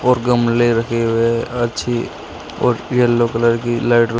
और गमले रखे हुए अच्छी और येलो कलर की लाइट --